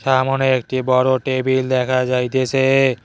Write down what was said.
সামোনে একটি বড় টেবিল দেখা যাইতেসে।